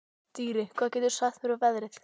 Dýri, hvað geturðu sagt mér um veðrið?